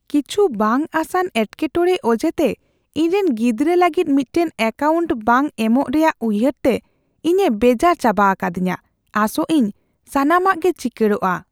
ᱠᱤᱪᱷᱩ ᱵᱟᱝ ᱟᱥᱟᱱ ᱮᱴᱠᱮᱼᱴᱚᱲᱮ ᱚᱡᱮᱛᱮ ᱤᱧᱨᱮᱱ ᱜᱤᱫᱽᱨᱟᱹ ᱞᱟᱹᱜᱤᱫ ᱢᱤᱫᱴᱟᱝ ᱮᱹᱠᱟᱣᱩᱱᱴ ᱵᱟᱝ ᱮᱢᱚᱜ ᱨᱮᱭᱟᱜ ᱩᱭᱦᱟᱹᱨ ᱛᱮ ᱤᱧᱮ ᱵᱮᱡᱟᱨ ᱪᱟᱵᱟ ᱟᱠᱟᱫᱤᱧᱟᱹ, ᱟᱥᱚᱜ ᱟᱹᱧ ᱥᱟᱱᱟᱢᱟᱜ ᱜᱮ ᱪᱤᱠᱟᱹᱲᱜᱚᱼᱟ ᱾